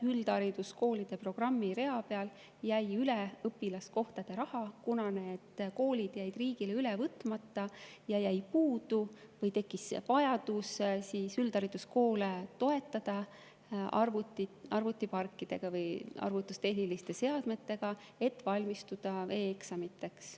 Üldhariduskoolide programmi rea peal jäi üle õpilaskohtade raha, kuna need koolid jäid riigile üle võtmata ja tekkis vajadus üldhariduskoole toetada arvutiparkidega või arvutustehniliste seadmetega, et valmistuda e‑eksamiteks.